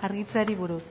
argitzeari buruz